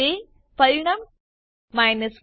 તે પરિણામ 10